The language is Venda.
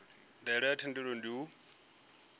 ndaela ya muthelo ndi u